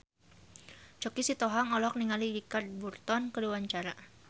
Choky Sitohang olohok ningali Richard Burton keur diwawancara